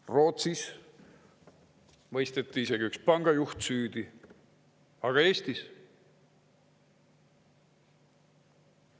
Rootsis mõisteti isegi üks pangajuht süüdi, aga Eestis?